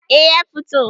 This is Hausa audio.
eh ya fito